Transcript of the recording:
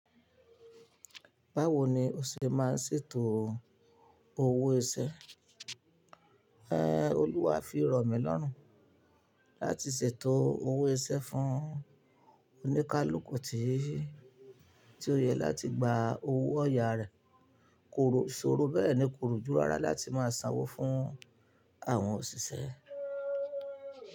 Báwo ni o ṣe máa ń ṣètò owó iṣẹ́? Ẹ̀ẹ́, Olúwá fi rọ̀mi lọ́rùn láti ṣètò owó iṣẹ́ fún oníkálùkù tí ó yẹ láti gba owó ọ̀yà rẹ̀. Kò ṣọ̀rọ̀ bẹ́ẹ̀ ni kò rùjú rárá láti máa sanwó fún àwọn òṣìṣẹ́